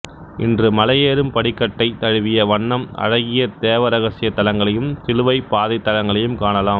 இன்று மலையேறும் படிக்கட்டைத் தழுவிய வண்ணம் அழகிய தேவ ரகசிய தலங்களையும் சிலுவைப் பாதைத் தலங்களையும் காணலாம்